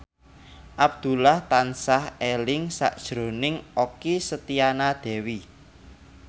Abdullah tansah eling sakjroning Okky Setiana Dewi